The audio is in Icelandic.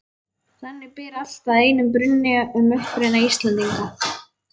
Þannig ber allt að einum brunni um uppruna Íslendinga.